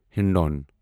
ہِندون